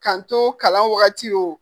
Ka n to kalan wagati wo